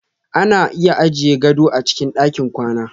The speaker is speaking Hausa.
Ana iya ajiye gado a cikin ɗakin kwana.